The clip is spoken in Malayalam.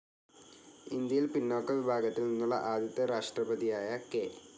ഇന്ത്യയിൽ പിന്നോക്ക വിഭാഗത്തിൽ നിന്നുള്ള ആദ്യത്തെ രാഷ്ട്രപതിയായ കെ.